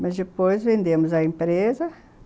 Mas depois vendemos a empresa.